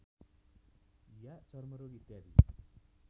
या चर्मरोग इत्यादि